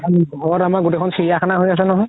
ঘৰত আমাৰ গুতেইখন চিৰিয়াখানা হয় আছে নহয়